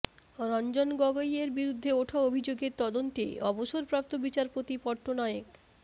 রঞ্জন গগৈ এর বিরুদ্ধে ওঠা অভিযোগের তদন্তে অবসরপ্রাপ্ত বিচারপতি পট্টনায়েক